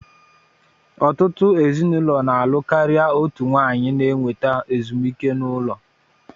Ọtụtụ ezinụlọ na-alụ karịa otu nwanyị na-enweta ezumike ụlọ